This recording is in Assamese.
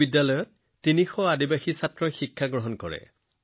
এই বিদ্যালয়ত ৩০০ জনজাতীয় শিশুৱে পঢ়ে